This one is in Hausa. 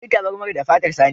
An yi tabarmar da fatar saniya.